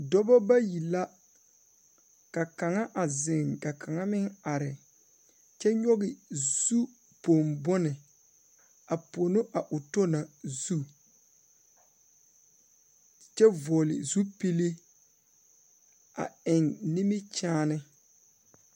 Dɔbɔ bayi la ka kaŋa a zeŋ ka kaŋa meŋ are kyɛ nyoge zupong bone a pono a o tɔ na zu kyɛ vɔɔle zupile a eŋ nimikyaane.